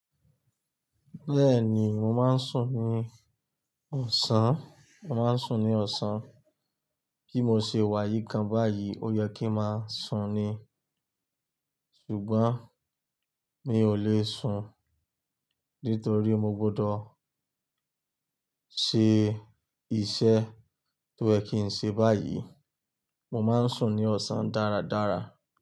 Bẹ́ẹ̀ni, mo máa ń sùn ní ọ̀sán, màá ń sùn ní ọ̀sán. Bí mo ṣe wá yìí kan báyìí, ó yẹ kí ń máa sùn ni, ṣùgbọ́n mi ò le sùn nítorí mo gbọdọ̀ ṣe iṣẹ́ tó yẹ́ kí ń ṣe báyìí. Mo máa ń sùn ní ọ̀sán dáradára.